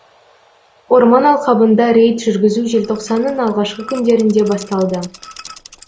орман алқабында рейд жүргізу желтоқсанның алғашқы күндерінде басталды